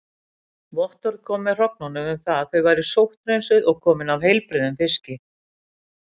Vottorð kom með hrognunum um það að þau væru sótthreinsuð og komin af heilbrigðum fiski.